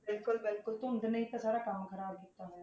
ਬਿਲਕੁਲ ਬਿਲਕੁਲ ਧੁੰਦ ਨੇ ਹੀ ਤਾਂ ਸਾਰਾ ਕੰਮ ਖ਼ਰਾਬ ਕੀਤਾ ਹੋਇਆ,